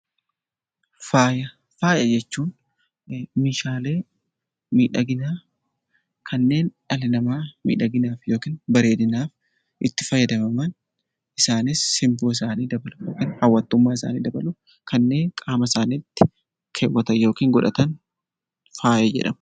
Faaya jechuun meeshaalee miidhaginaa kanneen dhalli namaa miidhaginaaf yookiin bareedinaaf itti fayyadaman isaaniis simboo isaanii fi hawwattummaa isaanii dabaluuf kanneen qaama isaaniitti kaawwatan yookiin godhatan faaya jedhama.